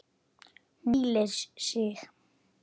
Hún hvílir sig.